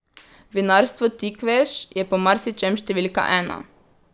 Vinarstvo Tikveš je po marsičem številka ena.